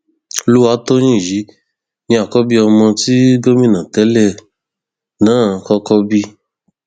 olùwátòyìn yìí ni àkọbí ọmọ tí gómìnà tẹlẹ náà kọkọ bí